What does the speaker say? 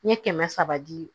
N ye kɛmɛ saba di